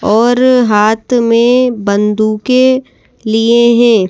और हाथ में बंदूके लिए हैं।